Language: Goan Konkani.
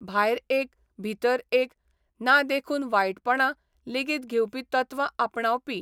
भायर एक, भितर एक ना देखून वायटपणां लेगीत घेवपी तत्वां आपणावपी.